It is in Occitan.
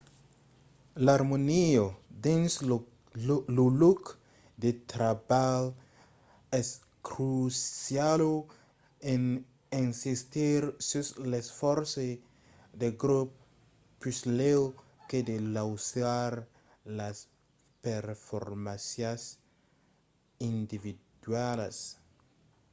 l’armonia dins lo lòc de trabalh es cruciala en insistir sus l’esfòrç de grop puslèu que de lausar las performàncias individualas